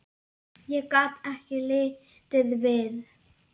Ég gat ekki litið við.